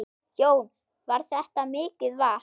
Jón: Var þetta mikið vatn?